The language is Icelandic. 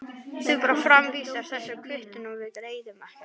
Þú bara framvísar þessari kvittun og við greiðum, ekkert mál.